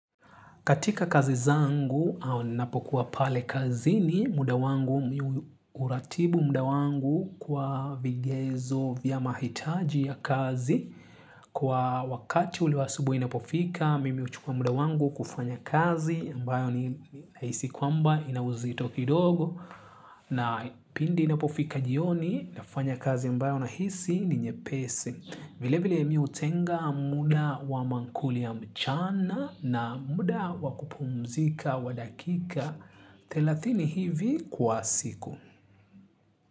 Katika kazi zangu au napokuwa pale kazini muda wangu uratibu muda wangu kwa vigezo vya mahitaji ya kazi. Kwa wakati ule wa asubuhi inapofika, mimi huchukua muda wangu kufanya kazi mbayo nahisi kwamba ina uzito kidogo. Na pindi inapofika jioni, nafanya kazi mbayo nahisi ni nyepesi. Vile vile mimi hutenga muda wa maakuli ya mchana na muda wa kupumzika wa dakika thelathini hivi kwa siku.